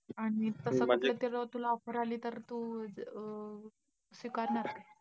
आणि समजा कुठलीतरी तुला offer आली तर तू अं स्वीकारणार काय?